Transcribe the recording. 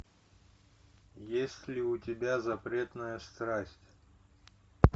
есть ли у тебя запретная страсть